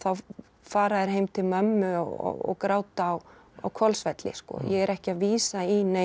fara þeir heim til mömmu og gráta á Hvolsvelli ég er ekki að vísa í nein